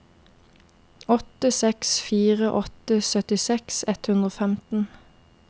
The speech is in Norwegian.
åtte seks fire åtte syttiseks ett hundre og femten